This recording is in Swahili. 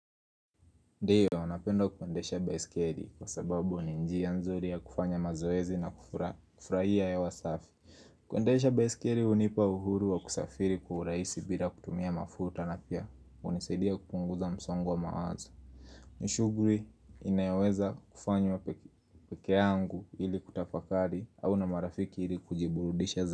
Ndiyo, napenda kuendesha baiskeli kwa sababu ni njia nzuri ya kufanya mazoezi na kufurahia hewa safi. Kuendesha baisikeli hunipa uhuru wa kusafiri kwa urahisi bila kutumia mafuta na pia hunisaidia kupunguza msongo wa mawazo. Ni shughuli, inayoweza kufanywa peke yangu ili kutafakari au na marafiki ili kujiburudisha za.